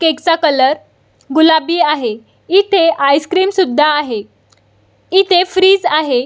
Cake चा colour गुलाबी आहे इथे आइस-क्रीम सुद्धा आहे इथे फ्रीज आहे.